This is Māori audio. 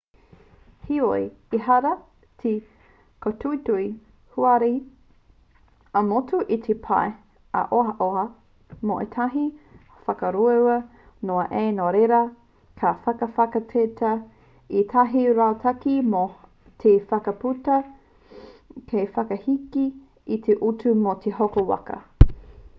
heoi ehara te kōtuitui huarahi ā-motu i te pai ā-ohaoha mō ētahi waka ruarua noa nei nō reira ka whakawhanaketia ētahi rautaki hou mō te whakaputa hei whakaheke i te utu mō te hoko waka